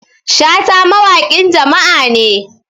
shata mawaƙin jama'a ne